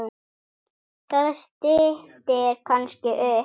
Það styttir kannski upp.